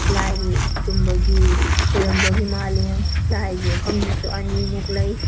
ꯂꯥꯏꯒꯤ ꯒꯨꯝꯕꯒꯤ ꯈꯣꯏꯔꯝꯕꯒꯤ ꯃꯜꯂꯤ ꯂꯥꯏꯒꯤ ꯃꯐꯝ ꯁꯤꯁꯨ ꯑꯅꯤꯃꯨꯛ ꯂꯩ꯫